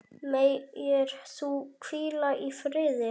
Megir þú hvíla í friði.